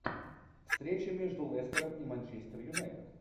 встреча между лестером и манчестер юнайтед